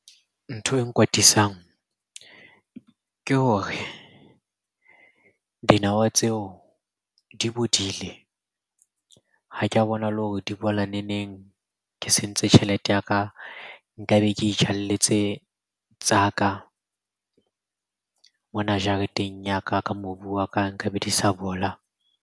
Ntho e nkwatisang ke hore dinawa tseo di bodile, ha ke a bona le hore di bola neneng. Ke sentse tjhelete ya ka, nkabe ke itjalletse tsa ka mona jareteng ya ka. Ka mobu wa ka nka be di sa bola.